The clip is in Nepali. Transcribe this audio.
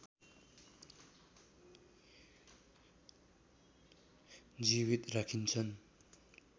जीवित राखिन्छन्